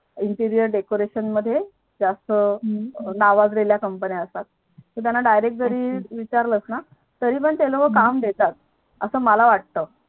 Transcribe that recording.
Interier Decoration नावाजलेल्या Company असतात तू त्यांना Direct जरी विचारलास ना तरी ते लोक काम देतात असं मला वाटत